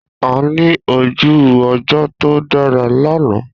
A ní ojú ọjọ́ tó dára lánàá.